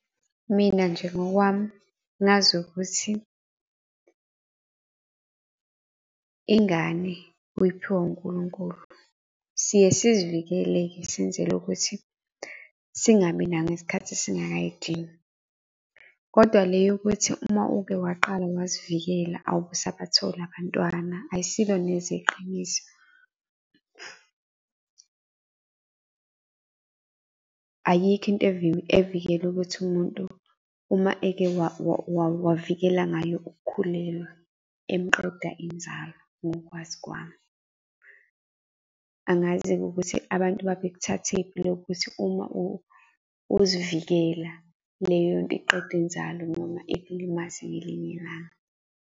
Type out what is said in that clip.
Mina nje ngokwami, ngazi ukuthi ingane uyiphiwa unkulunkulu. Siye sizivikeleke-ke, senzele ukuthi singabi nayo isikhathi singakayidingi, kodwa le yokuthi uma uke waqala wazivikela awubisabathola abantwana ayisilo neze iqiniso. Ayikho into evikela ukuthi umuntu, uma eke wavikela ngayo uk'khulelwa emqeda inzalo ngokwazi kwami. Angazi-ke ukuthi abantu babekuthathephi lokho ukuthi uma uzivikela leyonto iqeda inzalo noma ikulimaze ngelinye ilanga.